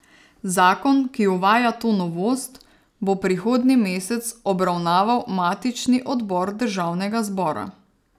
Zakon, ki uvaja to novost, bo prihodnji mesec obravnaval matični odbor državnega zbora.